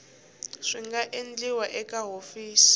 swi nga endliwa eka hofisi